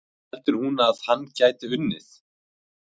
En heldur hún að hann gæti unnið?